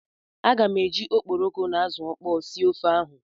Aga m eji okporoko na azụ ọkpọọ sie ofe ahụ.